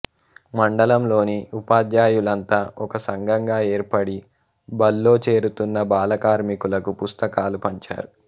మండలంలోని ఉపాధ్యాయులంతా ఒక సంఘంగా ఏర్పడి బళ్లో చేరుతున్న బాలకార్మికులకు పుస్తకాలు పంచారు